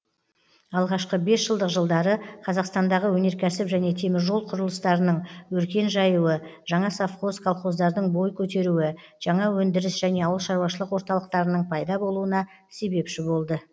алғашқы бесжылдық жылдары қазақстандағы өнеркәсіп және теміржол кұрылыстарының өркен жаюы жаңа совхоз колхоздардың бой көтеруі жаңа өндіріс және ауылшаруашылык орталықтарының пайда болуына себепші болды